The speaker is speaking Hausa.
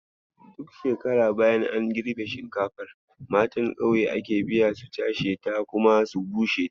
Duk shekara bayan an girbe shinkafar, matan kauye ake biya su cashe ta kuma su bushe ta.